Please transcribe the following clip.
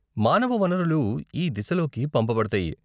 మానవ వనరులు ఈ దిశలోకి పంపబడతాయి.